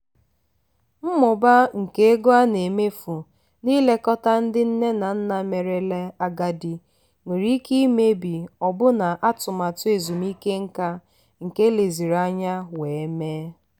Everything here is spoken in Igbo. mmụba nke ego a na-emefu n'ilekọta ndị nne na nna merela agadi nwere ike imebi ọbụna atụmatụ ezumike nka nke eleziri anya wee mee.